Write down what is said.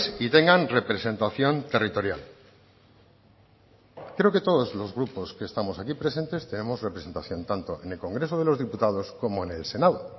y tengan representación territorial creo que todos los grupos que estamos aquí presentes tenemos representación tanto en el congreso de los diputados como en el senado